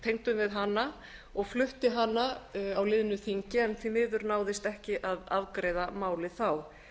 tengdum við hana og flutti hana á liðnu þingi en því miður náðist ekki að afgreiða málið þá